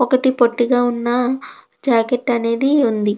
ఒకటి పొట్టిగా ఉన్న జాకెట్టు అనేది ఉంది.